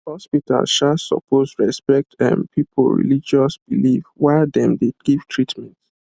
hospitals um suppose respect um people religious belief while dem dey give treatment